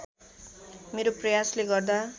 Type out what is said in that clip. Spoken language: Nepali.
मेरो प्रयासले गर्दा